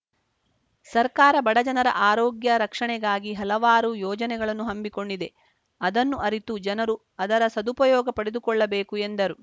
ಸರ್ಕಾರ ಬಡ ಜನರ ಆರೋಗ್ಯ ರಕ್ಷಣೆಗಾಗಿ ಹಲವಾರು ಯೋಜನೆಗಳನ್ನು ಹಮ್ಮಿಕೊಂಡಿದೆ ಅದನ್ನು ಅರಿತು ಜನರು ಅದರ ಸದುಪಯೋಗ ಪಡೆದುಕೊಳ್ಳಬೇಕು ಎಂದರು